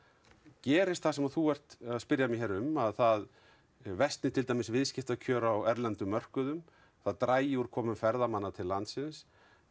gerist það sem þú ert að spyrja um að það versni til dæmis viðskiptakjör á erlendum mörkuðum það dragi úr komu ferðamanna til landsins